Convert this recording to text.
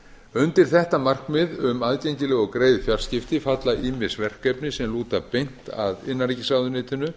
undir þetta markmið um aðgengileg og greið fjarskipti falla ýmis verkefni sem lúta beint að innanríkisráðuneytinu